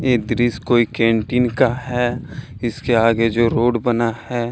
ये दृश्य कोई कैंटीन का है इसके आगे जो रोड बना है।